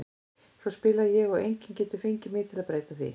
Svona spila ég og enginn getur fengið mig til að breyta því.